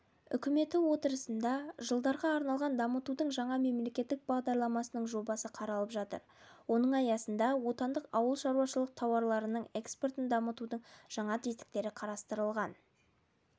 үкіметі отырысында жылдарға арналған дамытудың жаңа мемлекеттік бағдарламасының жобасы қаралып жатыр оның аясында отандық ауылшаруашылық тауарларының экспортын дамытудың жаңа тетіктері қарастырылған